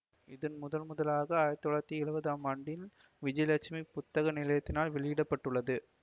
இது முதன் முதலாக ஆயிரத்தி தொள்ளாயிரத்தி எழுவதாம் ஆண்டில் விஜயலட்சுமி புத்தக நிலையத்தினரால் வெளியிட பட்டது